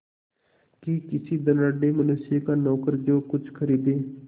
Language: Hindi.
कि किसी धनाढ़य मनुष्य का नौकर जो कुछ खरीदे